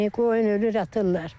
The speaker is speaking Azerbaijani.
Qoyun ölür atırlar.